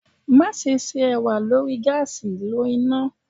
Maṣe ṣe ewa lori gaasi lo ina